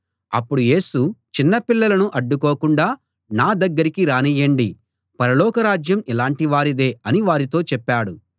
అప్పుడు యేసు చిన్నపిల్లలను అడ్డుకోకుండా నా దగ్గరికి రానియ్యండి పరలోకరాజ్యం ఇలాటి వారిదే అని వారితో చెప్పాడు